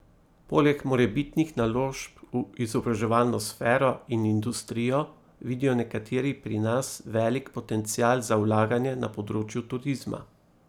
Poleg morebitnih naložb v izobraževalno sfero in industrijo vidijo nekateri pri nas velik potencial za vlaganje na področju turizma.